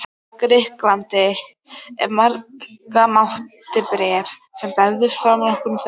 Grikklandi, ef marka mátti bréf sem bárust frá nokkrum þeirra.